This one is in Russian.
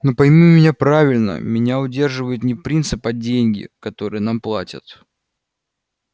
но пойми меня правильно меня удерживает не принцип а деньги которые нам платят